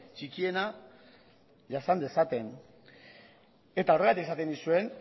txikiena jasan dezaten eta horregatik esaten nizuen